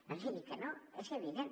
no digui que no és evident